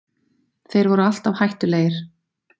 Þeir voru alltaf hættulegir